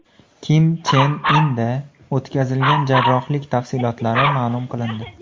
Kim Chen Inda o‘tkazilgan jarrohlik tafsilotlari ma’lum qilindi.